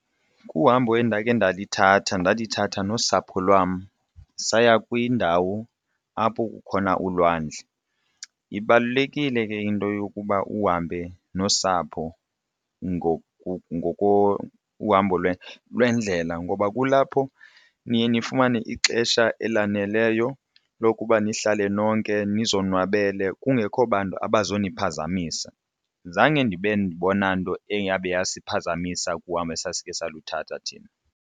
Kuhambo endakhe ndalithatha ndalithatha nosapho lwam saya kwindawo apho kukhona ulwandle. Ibalulekile ke into yokuba uhambe nosapho kuhambo lwendlela ngoba kulapho niye nifumane ixesha elaneleyo lokuba nihlale nonke nizonwabele kungekho bantu abazoniphazamisa. Zange ndibe ndibona nto eyabe yasiphazamisa kuhamba esasikhe salithatha thina.